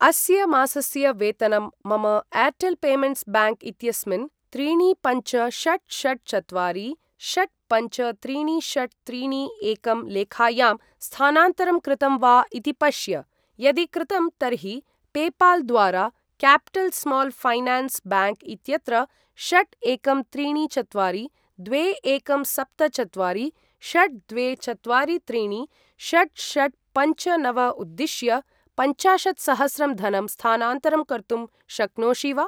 अस्य मासस्य वेतनं मम एर्टेल् पेमेण्ट्स् ब्याङ्क् इत्यस्मिन् त्रीणि पञ्च षट् षट् चत्वारि षट् पञ्च त्रीणि षट् त्रीणि एकं लेखायां स्थानान्तरं कृतम् वा इति पश्य। यदि कृतं तर्हि पेपाल् द्वारा क्यापिटल् स्माल् फैनान्स् ब्याङ्क् इत्यत्र षट् एकं त्रीणि चत्वारि द्वे एकं सप्त चत्वारि षट् द्वे चत्वारि त्रीणि षट् षट् पञ्च नव उद्दिश्य पञ्चाशत्सहस्रं धनं स्थानान्तरं कर्तुं शक्नोषि वा?